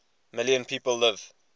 million people live